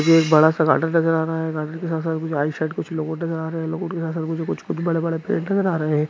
बड़ा सा गार्डन जैसा नजर आ रहा है। बड़ा बड़ा आ रहा हैं।